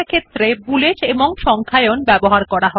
প্রতিটি পয়েন্ট একটি বুলেট অথবা একটি সংখ্যা দিয়ে আরম্ভ করা হয়